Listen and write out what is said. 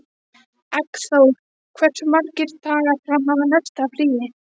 Eggþór, hversu margir dagar fram að næsta fríi?